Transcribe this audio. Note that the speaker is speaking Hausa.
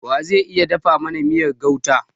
Wa ze iya dafa mana miyar gauta?